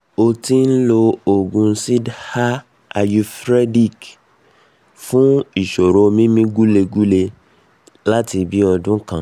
ó ti ń lo òògùn siddha ayurvedic fún ìṣòro mímí gúlengúle láti bí i ọdún kan